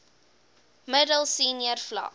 middel senior vlak